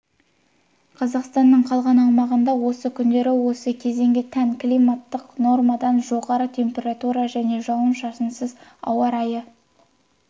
қазақстанның қалған аумағында осы күндері осы кезеңге тән климаттық нормадан жоғары температура және жауын-шашынсыз ауа райы